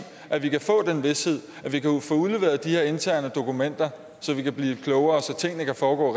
at vi kan få den vished at vi kan få udleveret de her interne dokumenter så vi kan blive klogere så tingene kan foregå